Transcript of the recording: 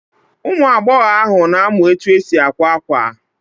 Ụmụagbọghọ ahụ na-amụ etu esi akwa akwa